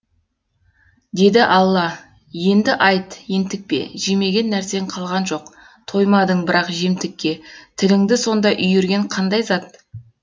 деді алла енді айт ентікпе жемеген нәрсең қалған жоқ тоймадың бірақ жемтікке тіліңді сонда үйірген қандай зат